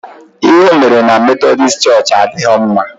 Ihe o mere na metọdis chọọchị adịghị mma.